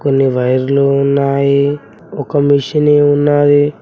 కొన్ని వైర్లు ఉన్నాయి ఒక మిషిని ఉన్నది.